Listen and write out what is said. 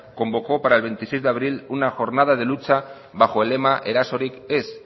convocó para el veintiséis de abril una jornada de lucha bajo el lema erasorik ez